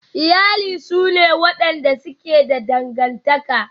Iyali sune wadanda suke da dangantaka.